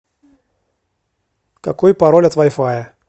какой пароль от вай фая